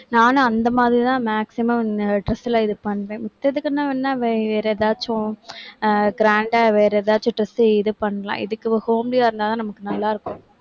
நானும் அந்த மாதிரிதான் maximum dress எல்லாம் இது பண்றேன். மித்ததுக்குன்னா வேற ஏதாச்சும் ஆஹ் grand ஆ வேற எதாச்சும் dress இது பண்ணலாம். இதுக்கு homely ஆ இருந்தாதான், நமக்கு நல்லா இருக்கும்